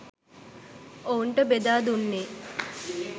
ඔවුන්ට බෙදා දුන්නේ